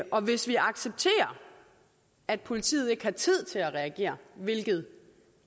og hvis vi accepterer at politiet ikke har tid til at reagere hvilket